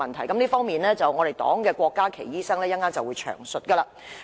關於這方面，敝黨的郭家麒醫生稍後便會詳述。